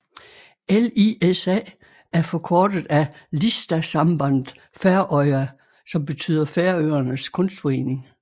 LISA er forkortet af Listasamband Føroya som betyder Færøernes Kunstforening